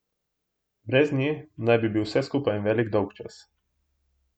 Brez nje naj bi bil vse skupaj en velik dolgčas.